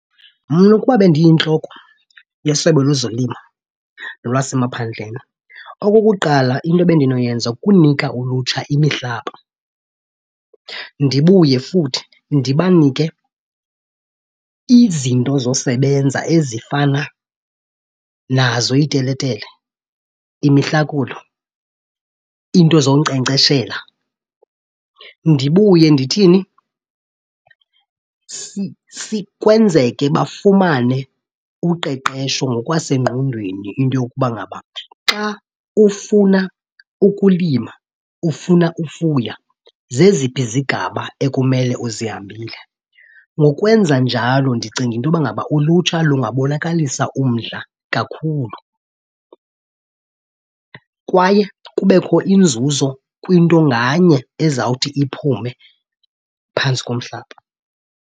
Mna ukuba bendiyintloko yeSebe lezoLimo lwasemaphandleni, okokuqala into ebendinoyenza kunika ulutsha imihlaba. Ndibuye futhi ndibanike izinto zosebenza ezifana nazo iiteletele, imihlakulo, iinto zonkcenkceshela. Ndibuye ndithini? Kwenzeke bafumane uqeqesho ngokwasengqondweni into yokuba ngaba xa ufuna ukulima ufuna ufuya zeziphi izigaba ekumele uzihambile. Ngokwenza njalo ndicinga into yoba ngaba ulutsha lungabonakalisa umdla kakhulu kwaye kubekho inzuzo kwinto nganye ezawuthi iphume phantsi komhlaba.